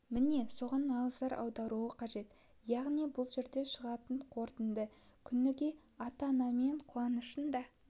міне соған назар аударылуы қажет яғни бұл жерде шығатын қорытынды күніге ата-анасымен қуанышын да